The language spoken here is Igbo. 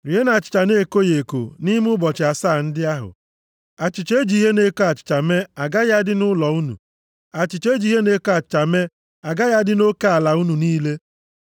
Rienụ achịcha na-ekoghị eko nʼime ụbọchị asaa ndị ahụ. Achịcha e ji ihe na-eko achịcha mee agaghị adị nʼụlọ unu. Achịcha e ji ihe na-eko achịcha mee agaghị adị nʼoke ala unu niile.